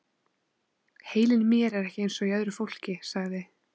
Heilinn í mér er ekki eins og í öðru fólki- sagði